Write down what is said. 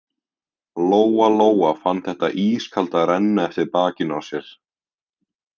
Lóa-Lóa fann þetta ískalda renna eftir bakinu á sér.